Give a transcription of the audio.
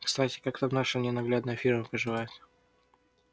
кстати как там наша ненаглядная фирма поживает